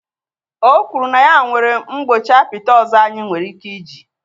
O kwuru na ya nwere mgbọchi apịtị ọzọ anyị nwere ike iji